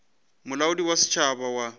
ke molaodi wa setšhaba wa